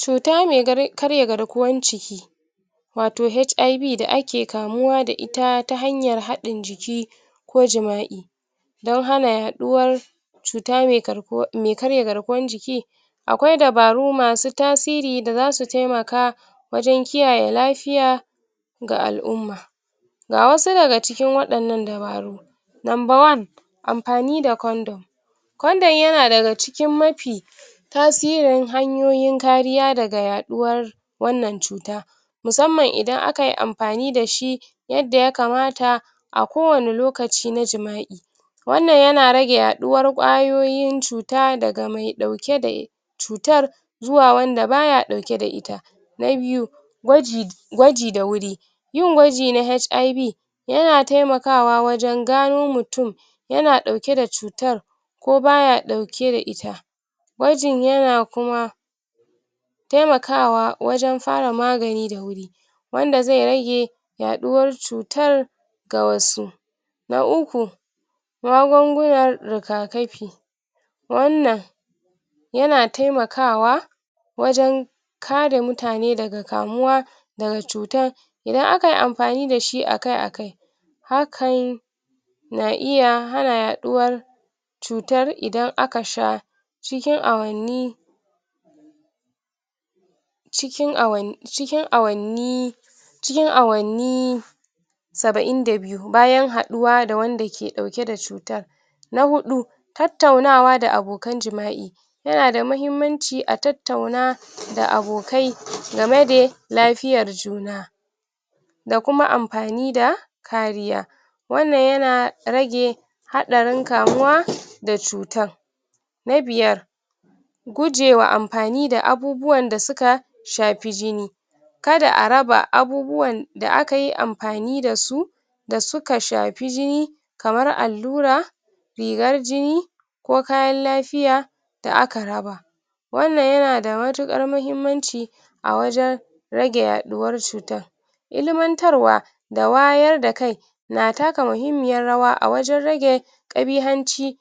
cuta me kar[um] karya garkuwan jiki wato HIV da ake kamuwa da ita ta hanyar haɗin jiki ko jima'i don hana yaɗuwar cuta me karkuwa[um] karya garkuwan jik akwai dabaru masu tasiri da zasu temaka wajen kiyaye lafiya ga al'umma ga wasu daga cikin waɗanan dabaru number one anfani da condom condom yana daga cikin mafi tasirin hanyoyin kariya daga yaɗuwa wanan cuta musamman idan akayi anfani da shi yadda ya kamata a kowani lokaci na jima'i wanan yana rage yaɗuwar kwayoyin cuta daga me ɗauke da cutar zuwa wanda baya ɗauke da ita na biyu gwaji gwaji da wuri yin gwaji na HIV yana temakawa wajan gano mutun yan ɗauke da cutar ko baya ɗauke da ita gwajin yana kuma temakawa wajan fara magani da wuri wanda zai rage yaɗuwar cutar ga wasu na uku magungunar riga kafi wanan yana temakawa wajan kare mutane daga kamuwa daga cutar idan akayi anfani dashi akai akai hakan na iya hana yaɗuwar cutar idan aka sha cikin awanni cikin awan[um] cikin awanni cikin awanni sabain da biyu bayan haɗuwa da wanda ke ɗauke da cutar na huɗu tattaunawa da abokan jima'i yanada mahimmanci a tattauna da abokai gamede lafiyar juna da kuma anfani da kariya wanan yana rage haɗarin kamuwa da cutar na biyar guje wa anfani wa abubuwan da suka shapi jini kada araba abubuwan da akayi anfani dasu dasuka shapi jini kamar allura rigar jini ko kayan lafiya da aka raba wanan yanada mutukar mahimmanci awajan rage yaɗuwan cutan ilimantarwa da wayar da kai na taka muhimmiyar rawa a wajan rage kabihanci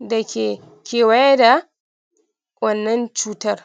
dake kewaye da wannan cutar